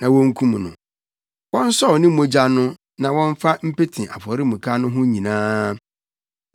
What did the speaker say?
na wonkum no. Wɔnsɔw ne mogya no na wɔmfa mpete afɔremuka no ho nyinaa.